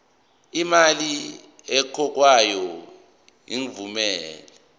imali ekhokhwayo ingavumelani